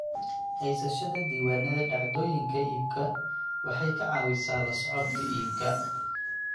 Haysashada diiwaannada dhacdooyinka iibku waxay ka caawisaa la socodka iibka.